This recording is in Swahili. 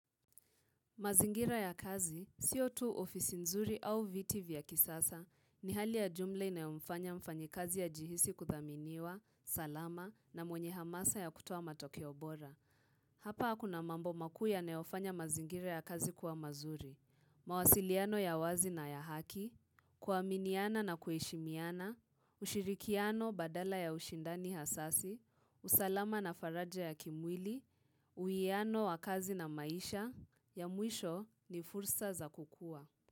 Mazingira ya kazi, siyo tu ofisi nzuri au viti vya kisasa, ni hali ya jumla inayomfanya mfanyikazi ajihisi kuthaminiwa, salama, na mwenye hamasa ya kutoa matokeo bora. Hapa akuna mambo makuu yanayofanya mazingira ya kazi kuwa mazuri, mawasiliano ya wazi na ya haki, kuaminiana na kueshimiana, ushirikiano badala ya ushindani hasasi, usalama na faraja ya kimwili, uwiano wa kazi na maisha, ya mwisho ni fursa za kukua.